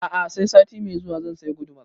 A'a sai sati mai zuwa zan saya gudumar